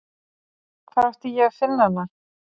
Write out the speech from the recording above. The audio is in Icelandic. Hvar átti ég að finna hana?